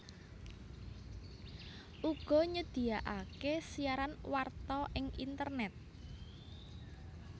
uga nyedyaké siaran warta ing internèt